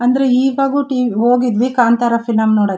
ಅಂದ್ರೆ ಇವಾಗು ಟಿ.ವಿ ಹೋಗಿದ್ವಿ ಕಾಂತಾರ ಫಿಲಂ ನೋಡೋಕೆ.